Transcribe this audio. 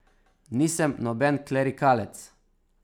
Nisem noben klerikalec.